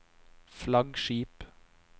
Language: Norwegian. flaggskip